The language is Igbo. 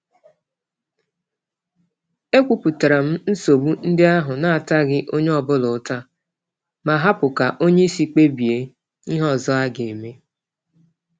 E kwupụtaram nsogbu ndị ahụ nataghị onye ọbula ụta, ma hapụ ka onyeisi kpebie ihe ọzọ ageme